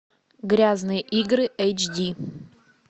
грязные игры эйчди